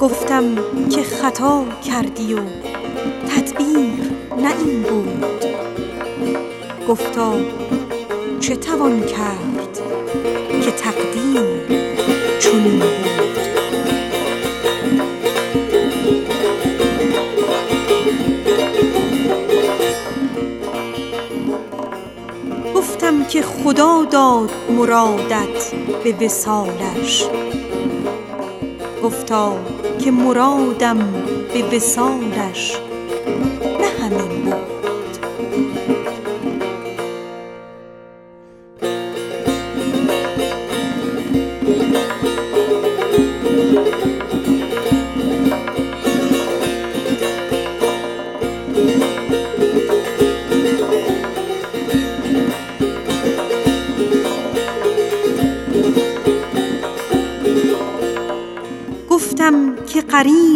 گفتم که خطا کردی و تدبیر نه این بود گفتا چه توان کرد که تقدیر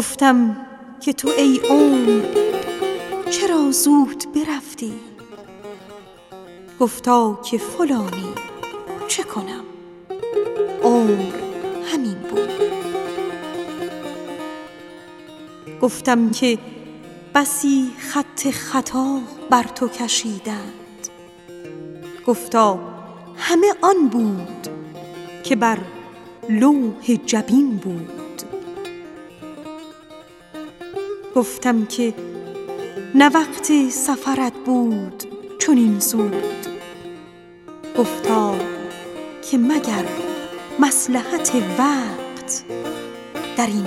چنین بود گفتم که بسی خط خطا بر تو کشیدند گفتا همه آن بود که بر لوح جبین بود گفتم که چرا مهر تو را ماه بگردید گفتا که فلک بر من بد مهر به کین بود گفتم که قرین بدت افکند بدین روز گفتا که مرا بخت بد خویش قرین بود گفتم که بسی جام تعب خوردی ازین پیش گفتا که شفا در قدح باز پسین بود گفتم که تو ای عمر مرا زود برفتی گفتا که فلانی چه کنم عمر همین بود گفتم که نه وقت سفرت بود چو رفتی گفتا که مگر مصلحت وقت درین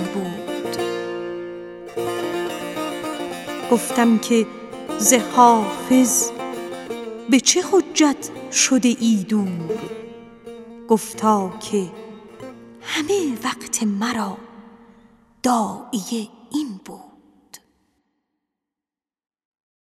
بود